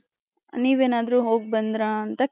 ನೀವ್ ಏನಾದ್ರು ಹೋಗ್ ಬಂದ್ರ ಅಂತ